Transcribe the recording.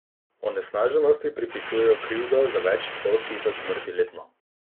Onesnaženosti pripisujejo krivdo za več sto tisoč smrti letno.